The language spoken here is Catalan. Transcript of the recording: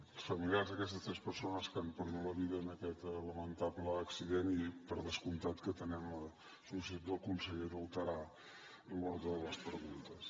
als familiars d’aquestes tres persones que han perdut la vida en aquest lamentable accident i per descomptat que atenem la sol·licitud del conseller d’alterar l’ordre de les preguntes